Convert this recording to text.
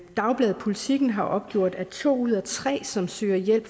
dagbladet politiken har opgjort at to ud af tre som søger hjælp